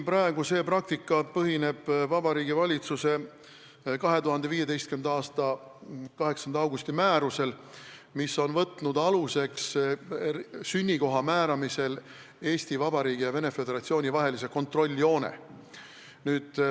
Praegune praktika põhineb Vabariigi Valitsuse 2015. aasta 8. augusti määrusel, mis on võtnud sünnikoha määramisel aluseks Eesti Vabariigi ja Venemaa Föderatsiooni vahelise kontrolljoone.